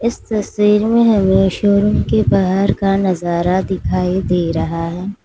इस तस्वीर में हमें शोरूम के बाहर का नजारा दिखाई दे रहा है।